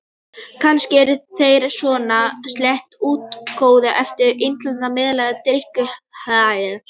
Kannski eru þeir svona sléttir og útlitsgóðir eftir innisetur og meðferð á drykkjumannahæli.